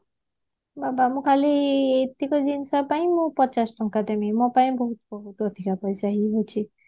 ବୋପା ମୁଁ ଖାଲି ଏତିକ କିଣିଷ ପାଇଁ ମୁଁ ପଚାଶ ଟଙ୍କା ଦେବି ମୋ ପାଇଁ ବହୁତ ବହୁତ ଅଧିକା ପଇସା ହେଇଯାଉଛି